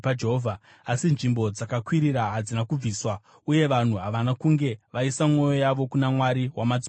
Asi nzvimbo dzakakwirira hadzina kubviswa uye vanhu havana kunge vaisa mwoyo yavo kuna Mwari wamadzibaba avo.